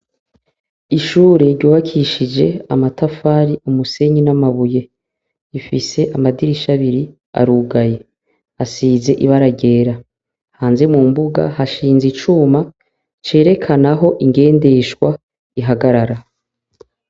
Ishure rwubakishije amatafari, umusenyi n'amabuye, rifise amadirisha abiri arugaye asize ibara ryera. Hanze, mu mbunga, hashinze icuma cerekana aho ingendeshwa ihagarara.